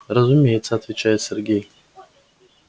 разумеется отвечает сергей